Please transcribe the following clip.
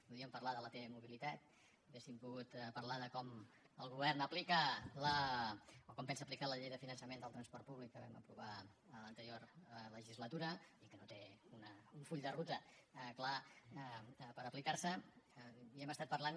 podríem parlar de la t mobilitat hauríem pogut parlar de com el govern aplica o com pensa aplicar la llei de finançament del transport públic que vam aprovar l’anterior legislatura i que no té un full de ruta clar per aplicar se i hem estat parlant